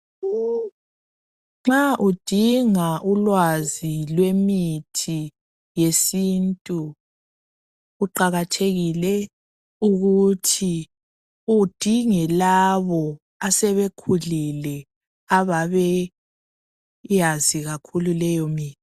Nxa udinga ulwazi lwemithi yesiNtu kuqakathekile ukuthi udinge labo asebekhulile ababeyazi kakhulu leyo mithi.